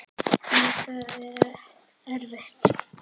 En það er erfitt.